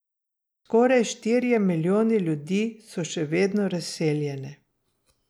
Skoraj štirje milijoni ljudi so še vedno razseljeni.